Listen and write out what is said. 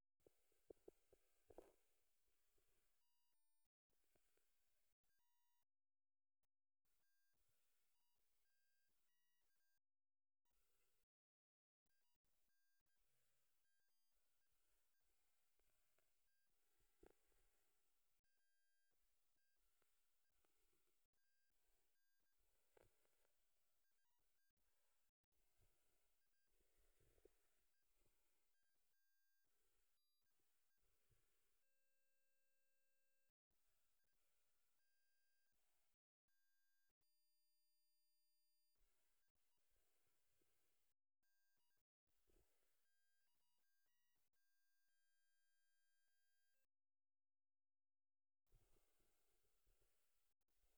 Meeta enkoki nadolita nanu tenewueji